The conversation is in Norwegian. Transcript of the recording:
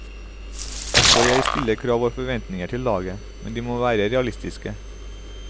Også jeg stiller krav og har forventninger til laget, men de må være realistiske.